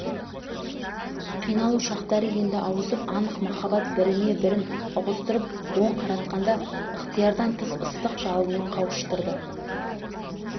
қиналу шақтары енді ауысып анық махаббат біріне-бірін ұғыстырып оң қаратқанда ықтиярдан тыс ыстық жалынмен қауыштырды